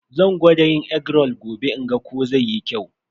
Zan gwada yin egg roll gobe in ga ko zai yi kyau.